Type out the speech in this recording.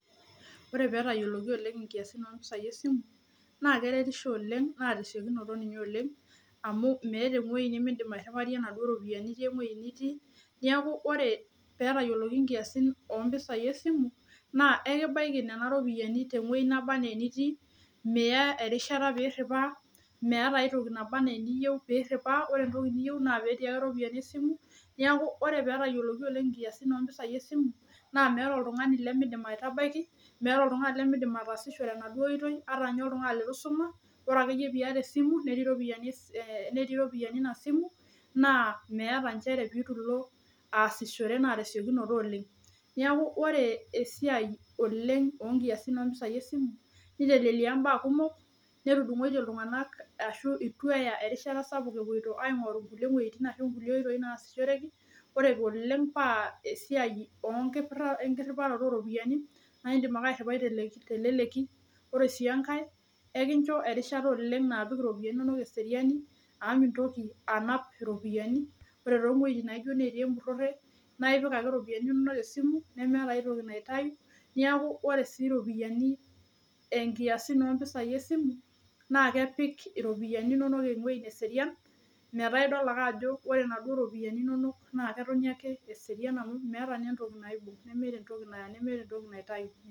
Ore peetayioloki oleng inkiasin ooropiyiani esimu naa keretisho oleng amu meeta eng'uei nimindim airiwarie inaduo ropiyiani itii ewueji nitiii niaku ore peetayioloki inkiasi ooropiyiani esimu naa ekibaiki nena ropiyiani tewueji nabanaa enitiiiya erishata peiriwa ore entoki niyieu naa petii ake iropiyiani esimu niaku ore peetayioloki oleng inkiasin ooropiyiani esimu naa meeta oltung'ani lemeidim aitabaki meeta oltung'ani lemeidim ataasishore enaduo ooitoi ata ninye oltung'ani leitu eisuma ore akeyie piata esimu netii iropiyiani ina simu naa meeta inchere peetu ilo aasishore naa tesiokinoto oleng niaku ore esiai oleng oonkiasin esimu neitelelia imbaa kumok nedung'oitiee iltung'anak ashuu eitu eya esiai sapuk epuoito aing'oru inkulie wuejitin ashuu inkulie oitoi naashishoreki ore oleng esiai enkiriwaroto ooh ropiyiani naa indiim ake airiwai teleleki ore sii enkae ekincho erishata oleng naapik iropiyiani inonok eseriani amu mintoki anap iropiyiani ore toowuejitin naijio natii empurore naa indiim atipika iropiyiani inonok esimu nemeeta ai toki naitayu neeku ore sii iropiyiani enkiasin ooropiyiani esimu naa kepik iropiyiani inonok ewueji neserian metaa idol ake ajo ore inaduo ropiyiani inonok naa ketoni ake eserian amu meeta entoki naibok nemeeta entoki naitayu.